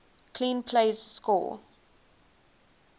clean plays score